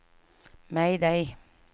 mayday